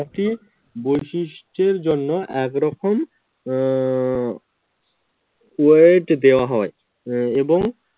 প্রত্যেকটি বৈশিষ্ট্যের জন্য এক রকম আহ weight দেওয়া হয়। এবং